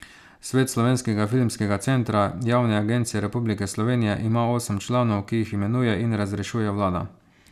Svet Slovenskega filmskega centra, javne agencije Republike Slovenije, ima osem članov, ki jih imenuje in razrešuje vlada.